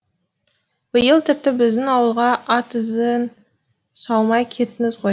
биыл тіпті біздің ауылға ат ізін салмай кеттіңіз ғой